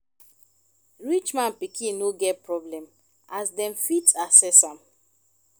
rich man pikin no get problem as dem fit access am